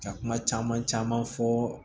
Ka kuma caman caman fɔ